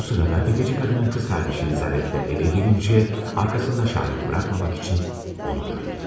Bu sırada təfəci qadının qız qardaşı Lizavetta evə gəlincə, arxasında şahid buraxmamaq üçün onu da öldürür.